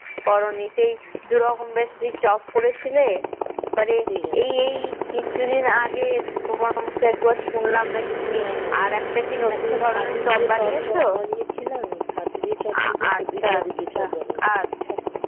তোমার মুখে একবার শুনলাম কিনা তুমি নাকি আর একটা নতুন ধরণের চপ বানিয়েছো আচ্ছা